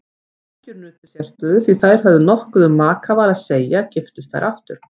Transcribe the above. Ekkjur nutu sérstöðu því þær höfðu nokkuð um makaval að segja giftust þær aftur.